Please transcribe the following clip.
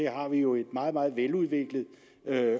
har vi jo et meget meget veludviklet